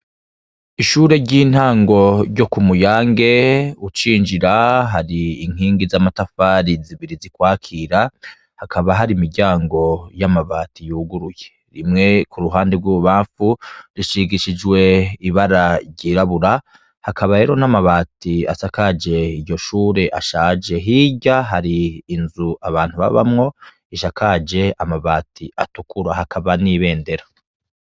Ishure ryintango ryo kumuyange ucinjira hari inkigi zamatafari zibiri zikwakira hakaba hari imiryango yamabati yuguruye imwe kuruhande rwibubamfu rishingishijwe ibara ryirabura hakaba rero hari amabati asakaje iryo shure ashaje hirya hari inzu abantu babamwo risakaje amabati atukura hakaba nibendera